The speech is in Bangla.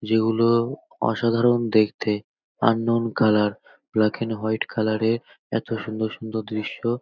যেগুলো অসাধারণ দেখতে আনন colour black and white colour -এর এত সুন্দর সুন্দর দৃশ্য।